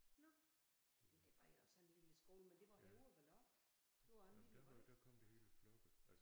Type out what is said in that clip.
Nåh jamen det var jo også en lille skole men det var Højer vel også? Det var også en lille var det ikke?